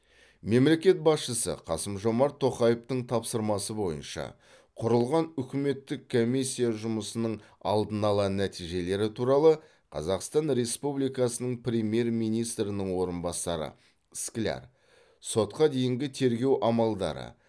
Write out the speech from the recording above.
мемлекет басшысы қасым жомарт тоқаевтың тапсырмасы бойынша құрылған үкіметтік комиссия жұмысының алдын ала нәтижелері туралы қазақстан республикасының премьер министрінің орынбасары скляр сотқа дейінгі тергеу амалдары